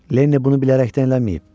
Lenniy bunu bilərəkdən eləməyib.